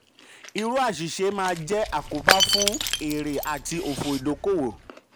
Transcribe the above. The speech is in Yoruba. irú àṣìṣe máa jẹ àkóbá fún fún èrè àti òfò ìdókòwò.